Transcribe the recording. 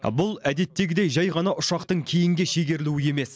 бұл әдеттегідей жай ғана ұшақтың кейінге шегерілуі емес